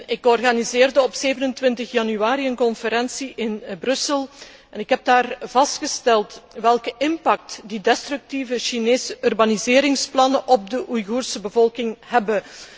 Ik organiseerde op 27 januari een conferentie in Brussel en heb daar vastgesteld welke weerslag de destructieve Chinese urbaniseringsplannen op de Oeigoerse bevolking hebben.